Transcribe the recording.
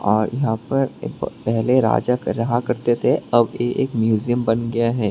और यहां पर पहले राजा कर रहा करते थे अब एक म्यूजियम बन गया है।